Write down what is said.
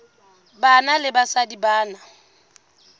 banna le basadi ba na